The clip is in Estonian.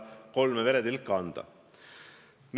Kolme veretilka seda kinnitades ei annaks.